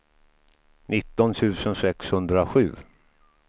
nitton tusen sexhundrasju